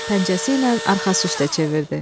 Pəncəsi ilə arxası üstə çevirdi.